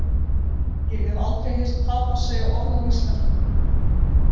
Ég hef aldrei heyrt Tadas segja orð á íslensku.